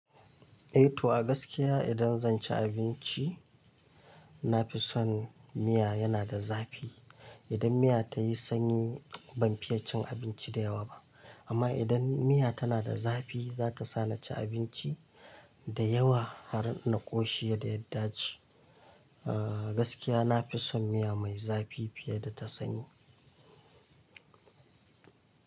Eh to a gaskiya idan zan ci abinci, nafi son miya yana da zafi. Idan miya ta yi sanyi ban fiye cin abinci da yawa ba. Amma idan miya tana da zafi, za ta sa na ci abinci da yawa har na ƙoshi yadda ya dace. Aaa, gaskiya nafison miya mai zafi fiye da ta sanyi.